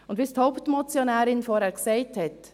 Und wie es die Hauptmotionärin vorhin gesagt hat: